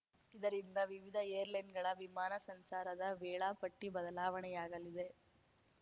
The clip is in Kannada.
ಇದರಿಂದ ವಿವಿಧ ಏರ್‌ಲೈನ್‌ಗಳ ವಿಮಾನ ಸಂಚಾರದ ವೇಳಾ ಪಟ್ಟಿಬದಲಾವಣೆಯಾಗಲಿದೆ